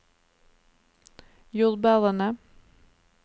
jordbærene